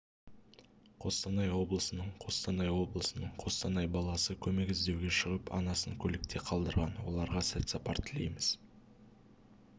қостанай облысының қостанай облысының қостанай баласы көмек іздеуге шығып анасын автокөлікте қалдырған оларға сәт сапар тілейміз